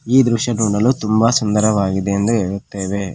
ಈ ದೃಶ್ಯ ನೋಡಲು ತುಂಬಾ ಸುಂದರವಾಗಿದೆ ಎಂದು ಹೇಳುತ್ತೇವೆ.